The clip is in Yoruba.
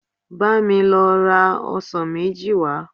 Bá mi lọ ra ọsàn méjì wá